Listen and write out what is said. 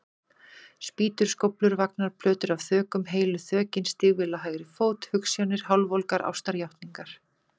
Spýtur, skóflur, vagnar, plötur af þökum, heilu þökin, stígvél á hægri fót, hugsjónir, hálfvolgar ástarjátningar.